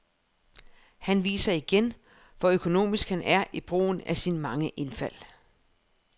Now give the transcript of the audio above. Han viser igen, hvor økonomisk han er i brugen af sine mange indfald.